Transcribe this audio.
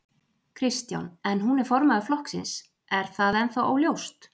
Kristján: En hún er formaður flokksins, er það ennþá óljóst?